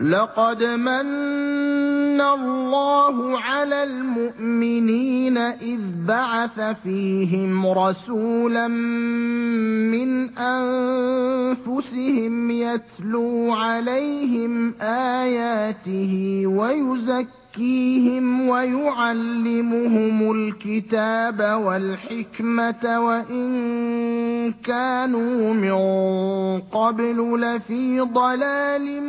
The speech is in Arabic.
لَقَدْ مَنَّ اللَّهُ عَلَى الْمُؤْمِنِينَ إِذْ بَعَثَ فِيهِمْ رَسُولًا مِّنْ أَنفُسِهِمْ يَتْلُو عَلَيْهِمْ آيَاتِهِ وَيُزَكِّيهِمْ وَيُعَلِّمُهُمُ الْكِتَابَ وَالْحِكْمَةَ وَإِن كَانُوا مِن قَبْلُ لَفِي ضَلَالٍ